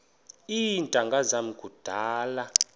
iintanga zam kudala